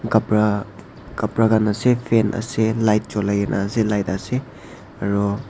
khapra khapra khan ase fan ase light chulaigena ase light ase aro.